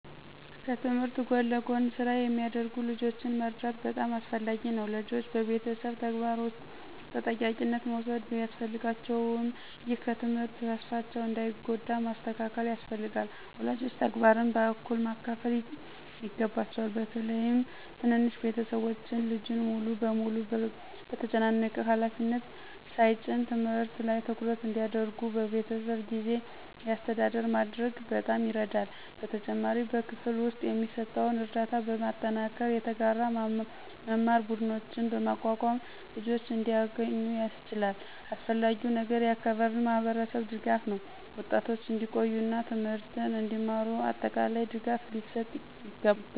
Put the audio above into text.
ከትምህርት ጎን ለጎን ስራ የሚያደርጉ ልጆችን መርዳት በጣም አስፈላጊ ነው። ልጆች በቤተሰብ ተግባር ውስጥ ተጠያቂነት መውሰድ ቢያስፈልጋቸውም፣ ይህ ከትምህርት ተስፋቸውን እንዳይጎዳ ማስተካከል ያስፈልጋል። ወላጆች ተግባርን በእኩል ማካፈል ይገባቸዋል፣ በተለይም ትንንሽ ቤተሰቦች ልጁን ሙሉ በሙሉ በተጨናነቀ ሃላፊነት ሳይጭኑ። ትምህርት ላይ ትኩረት እንዲያደርጉ በቤተሰብ የጊዜ አስተዳደር ማድረግ በጣም ይረዳል። በተጨማሪም በክፍል ውስጥ የሚሰጠውን ርዳታ በማጠናከር፣ የተጋራ መማር ቡድኖችን በማቋቋም ልጆች እንዲያገኙ ያስችላል። አስፈላጊው ነገር የአካባቢ ማህበረሰብ ድጋፍ ነው፤ ወጣቶች እንዲቆዩ እና ትምህርትን እንዲማሩ አጠቃላይ ድጋፍ ሊሰጥ ይገባል።